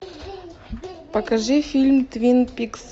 покажи фильм твин пикс